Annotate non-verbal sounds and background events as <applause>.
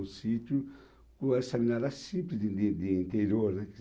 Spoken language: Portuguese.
Um sítio com essa <unintelligible> simples de de interior, né?